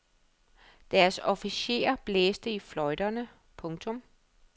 Deres officerer blæste i fløjterne. punktum